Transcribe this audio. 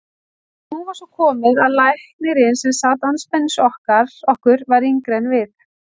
Og nú var svo komið að læknirinn sem sat andspænis okkur var yngri en við.